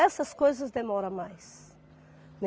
Essas coisas demoram mais, né.